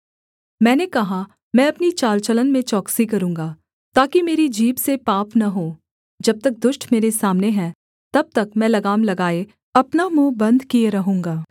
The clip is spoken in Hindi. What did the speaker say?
मैंने कहा मैं अपनी चाल चलन में चौकसी करूँगा ताकि मेरी जीभ से पाप न हो जब तक दुष्ट मेरे सामने है तब तक मैं लगाम लगाए अपना मुँह बन्द किए रहूँगा